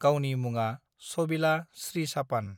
गावनि मुङा सबिला श्रीसापान